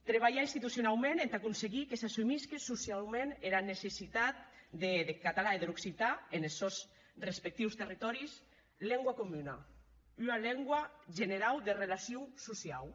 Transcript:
trabalhar institucionaument entà arténher que s’assumisque sociaument era necessitat deth catalan e der occitan enes sòns respectius territòris lengua comuna ua lengua generau de relacion sociau